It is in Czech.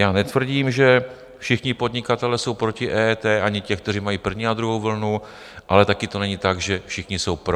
Já netvrdím, že všichni podnikatelé jsou proti EET, ani ti, kteří mají první a druhou vlnu, ale taky to není tak, že všichni jsou pro.